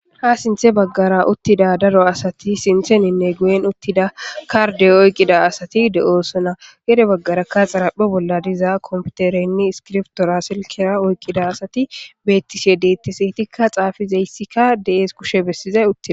Ha sintha bagara utida daro asati sinteninne guyen utida karde oyikida asati de, osona pude bagaraka zaraphe bolla diza kompitere nne iskibirtora silkera oyikida asati betishedetes etika xafizayisika de,ees kushe besiday